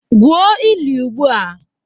Gwuo ili ugbua!